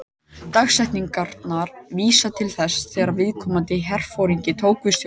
Dagsetningarnar vísa til þess þegar viðkomandi herforingi tók við stjórn.